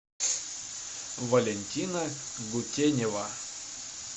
валентина гутенева